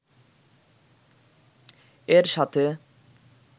এর সাথে